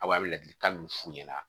Aw bɛ ladilikan min f'u ɲɛna